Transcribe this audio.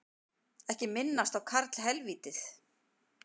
Ekki minnast á karlhelvítið